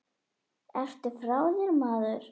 Ertu frá þér maður?